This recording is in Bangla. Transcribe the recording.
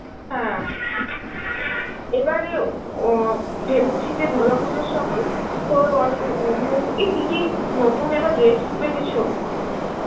হ্যাঁ, এবারে অ ভেবেছি যে দুর্গা পুজোর সময় তোর অনি~ এ এই কি কি নতুন এবার dress উঠবে কিছু?